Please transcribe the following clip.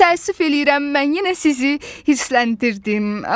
Təəssüf eləyirəm, mən yenə sizi hirsləndirdim.